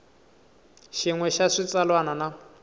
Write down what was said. xin we xa xitsalwana na